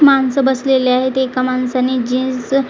माणसं बसलेली आहेत एका माणसाने जीन्स --